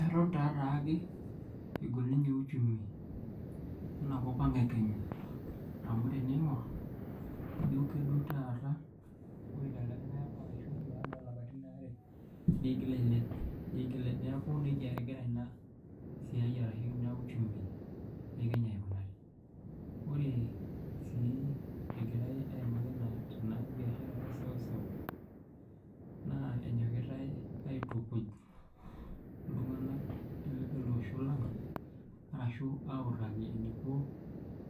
Eton taataake egol ninye uchumi enakop ang e Kenya. Amu teniingor, ijo kedou taata, wore telde likae apa arashu baada oolapatin waare, niigil ailep. Neeku nejia ekira ina siai arashu inia uchumi e kenya aikunari. Wore sii ekirae aimaki ena biashara eseuseu. Naa enyokitae aitukuj iltunganak leloosho lang. Arashu autaki eniko